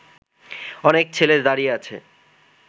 অনেক ছেলে দাঁড়িয়ে আছে